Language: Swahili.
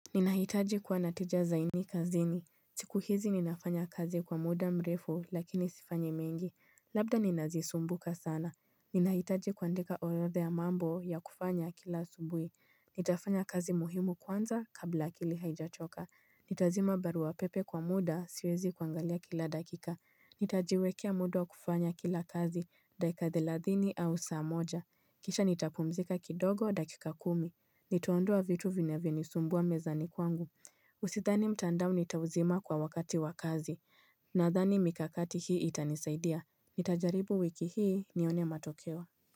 Ninahitaji kuwa na tija zaidi kazini siku hizi ninafanya kazi kwa muda mrefu lakini sifanyi mengi Labda ninazisumbuka sana Ninahitaji kuandika orodha ya mambo ya kufanya kila asubui Nitafanya kazi muhimu kwanza kabla akili haijachoka Nitazima barua pepe kwa muda siwezi kuangalia kila dakika Nitajiwekea muda wa kufanya kila kazi, dakika thelathini au saa moja Kisha nitapumzika kidogo dakika kumi Nitaondua vitu vinavyonisumbua mezani kwangu sidhani mtandao nitauzima kwa wakati wa kazi Nadhani mikakati hii itanisaidia Nitajaribu wiki hii nione matokeo.